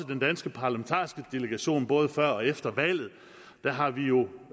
den danske parlamentariske delegation både før og efter valget har vi jo